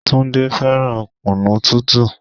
Túndé fẹ́ràn kunu tútù.